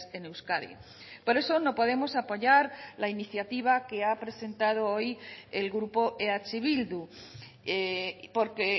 en euskadi por eso no podemos apoyar la iniciativa que ha presentado hoy el grupo eh bildu porque